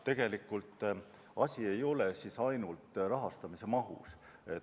Tegelikult ei ole asi ainult rahastamise mahus.